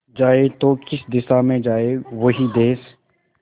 जाए तो किस दिशा में जाए वो ही देस